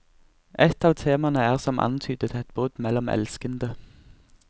Et av temaene er som antydet et brudd mellom elskende.